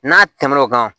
N'a tɛmɛn'o kan